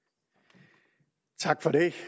vi